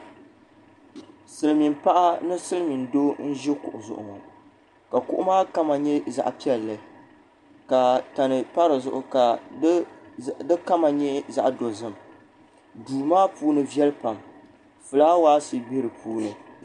Silimiin paɣa ni Silimiin doo n ʒi kuɣu zuɣu ŋɔ ka kuɣu maa kama nyɛ zaɣa ʒee ka tani pa di zuɣu ka di kama nyɛ zaɣa dozim duu maa puuni viɛli pam filaawaasi be dipuuni.